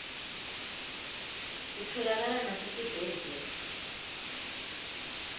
titfolakala nasetibhedlela